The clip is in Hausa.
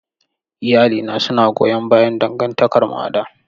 Iyalina suna goyon bayan dangantakarmu a da.